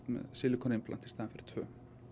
sílíkonið í stað tveggja